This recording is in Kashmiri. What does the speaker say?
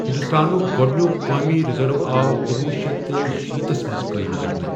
ہِنٛدوستانُک گۄڈنِیک قومی رِزٔرو آو کنوہہ شتھ شیٚے شیٖتھس منٛز قٲیِم کرنہٕ۔